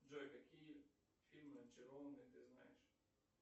джой какие фильмы очарованные ты знаешь